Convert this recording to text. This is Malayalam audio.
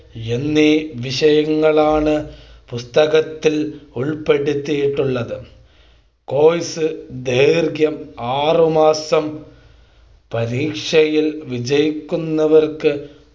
എന്നീ വിഷയങ്ങളാണ് പുസ്തകത്തിൽ ഉൾപ്പെടുത്തിയിട്ടുളളത് Course ദൈർഘ്യം ആറുമാസം പരീക്ഷയിൽ വിജയിക്കുന്നവർക്ക്